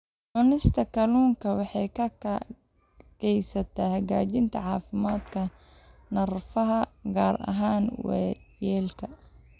Cunista kalluunka waxay gacan ka geysataa hagaajinta caafimaadka neerfaha, gaar ahaan waayeelka.